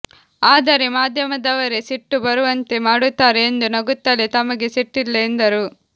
ಆದರೆ ಮಾಧ್ಯಮದವರೇ ಸಿಟ್ಟು ಬರುವಂತೆ ಮಾಡುತ್ತಾರೆ ಎಂದು ನಗುತ್ತಲೆ ತಮಗೇ ಸಿಟ್ಟಿಲ್ಲ ಎಂದರು